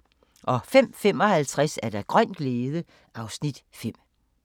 05:55: Grøn glæde (Afs. 5)